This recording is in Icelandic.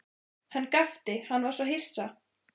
Hann gapti, hann var svo hissa.